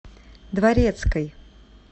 дворецкой